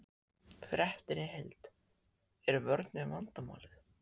Fréttin í heild: Er vörnin vandamálið?